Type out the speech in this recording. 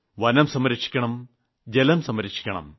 വനം സംരക്ഷിക്കണം ജലം സംരക്ഷിക്കണം